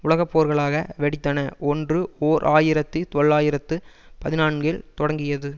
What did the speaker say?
உலகப்போர்களாக வெடித்தன ஒன்று ஓர் ஆயிரத்தி தொள்ளாயிரத்து பதினான்கில் தொடங்கியது